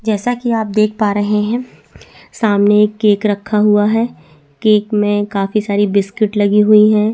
जैसा की आप देख पा रहे है सामने एक केक रखा हुआ है केक में काफी सारी बिस्किट लगी हुई है।